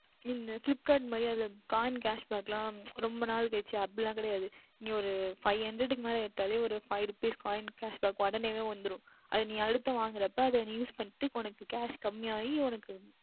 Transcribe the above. உம் Flipkart மாதிரியே அது Coin Cashback எல்லாம் ரொம்ப நாள் வைத்து அப்படி கிடையாது ஓர் Five Hundred க்கு மேல் எடுத்தாலே ஓர் Five Rupees Coin Cashback உடனே வந்துவிடும் அது நீ அடுத்து வாங்குகின்றபொழுது நீ Use பண்ணினால் உனக்கு Cash கம்மி ஆகும்